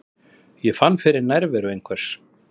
Ég fann fyrir nærveru einhvers.